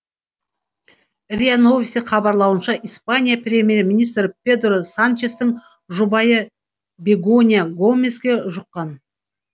риа новости хабарлауынша испания премьер министрі педро санчестің жұбайы бегонья гомеске жұққан